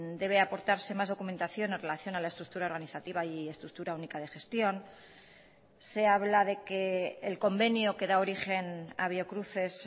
debe aportarse más documentación en relación a la estructura organizativa y estructura única de gestión se habla de que el convenio que da origen a biocruces